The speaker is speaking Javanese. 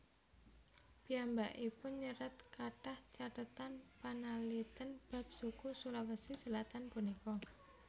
Piyambakipun nyerat kathah cathetan panalitèn bab suku Sulawesi Selatan punika